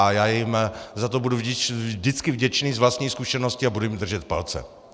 A já jim za to budu vždycky vděčný z vlastní zkušenosti a budu jim držet palce.